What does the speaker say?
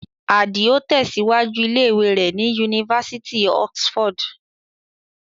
Àdìò tẹ̀síwájú ilé ìwé rẹ̀ ní Yunifásitì Oxford.